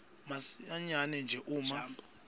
masinyane nje uma